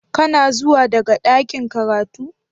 Kana zuwa daga ɗakin karatu?.